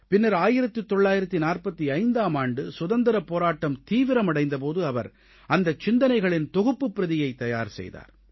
பின்னர் 1945ஆம் ஆண்டு சுதந்திரப் போராட்டம் தீவிரமடைந்த போது அவர் அந்த சிந்தனைகளின் தொகுப்புப் பிரதியை தயார் செய்தார்